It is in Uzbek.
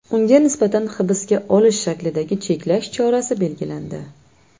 Unga nisbatan hibsga olish shaklidagi cheklash chorasi belgilandi.